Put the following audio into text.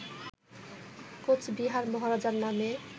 কোচবিহার মহারাজার নামে